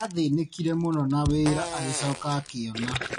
Athĩnĩkire mũno na wĩra agĩcoka akiona.